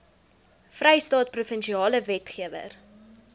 vrystaat provinsiale wetgewer